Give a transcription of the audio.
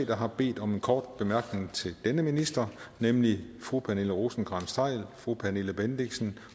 der har bedt om en kort bemærkning til denne minister nemlig fru pernille rosenkrantz theil fru pernille bendixen